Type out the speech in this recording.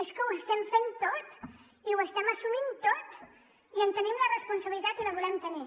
és que ho estem fent tot i ho estem assumint tot i en tenim la responsabilitat i la volem tenir